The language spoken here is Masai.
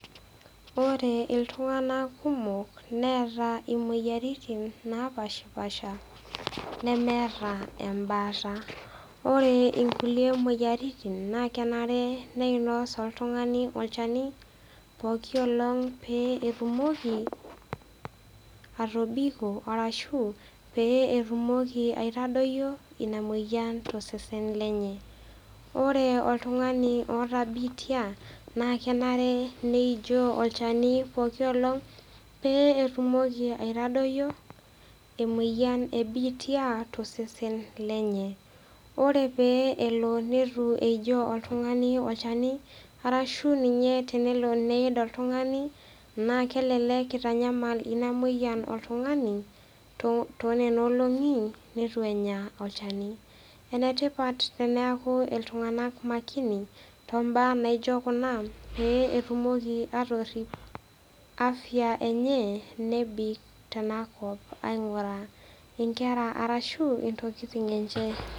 Ore iltung'anak kumok neata imoyiaritin kumok napaashipaasha nemeata embaata, ore kulie moyiaritin naa kenare neinos oltung'ani olchani pooki olong' pee etumoki atobiko ashu pee etumoki aitadoiyo ina moyian tosesen lenye. Ore oltung'ani oata biitia naa kenare neijoo olchani poooki olong' pee etumoki aitadoiyo emoyian e biitia tosesen lenye, ore pee elo metaa eitu eijoo oltung'ani olchani arashu ninye tenelo neid oltung'ani naa kelelek eitanyamal ina moyian oltung'ani too nena olong'i neitu enya olchani. Enetipat teneaku iltung'ana makini too imbaa naijo kuna pee etumoki atorip afya enye nebik tenakop aing'uraa inkera arashu intokitin enye.